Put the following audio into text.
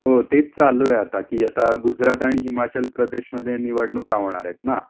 हो तेच चालू आहे कि आता गुजरात आणि हिमाचल प्रदेशमध्ये निवडणुका होणारेत ना,